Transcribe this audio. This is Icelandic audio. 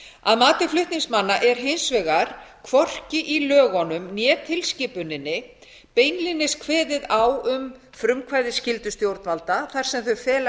að mati flutningsmanna er hins vegar hvorki í lögunum né tilskipuninni beinlínis kveðið á um frumkvæðisskyldu stjórnvalda þar sem þau fela